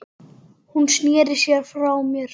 Hún sneri sér frá mér.